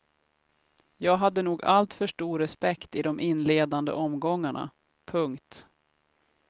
Jag hade nog alltför stor respekt i de inledande omgångarna. punkt